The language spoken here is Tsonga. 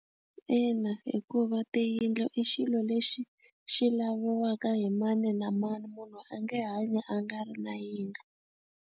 Ina hikuva tiyindlu i xilo lexi xi laviwaka hi mani na mani munhu a nge hanyi a nga ri na yindlu.